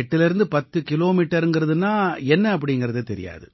810 கிலோமீட்டர்ங்கறதுன்னா என்ன அப்படீங்கறது தெரியாது